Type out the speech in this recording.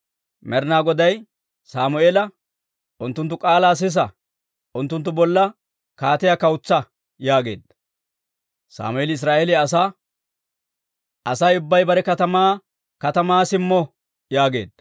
Med'inaa Goday Sammeela, «Unttunttu k'aalaa sisa; unttunttu bolla kaatiyaa kawutsa» yaageedda. Sammeeli Israa'eeliyaa asaa, «Asay ubbay bare katamaa katamaa simmo» yaageedda.